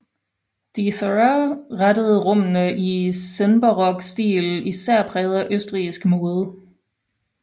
De Thurah indrettede rummene i senbarok stil især præget af østrigsk mode